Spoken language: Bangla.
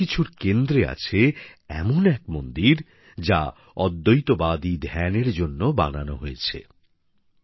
এই সবকিছুর কেন্দ্রে আছে এমন এক মন্দির যা অদ্বৈতবাদী ধ্যানের জন্য বানানো হয়েছে